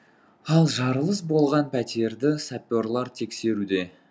ал жарылыс болған пәтерді саперлар тексеруде